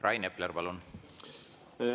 Rain Epler, palun!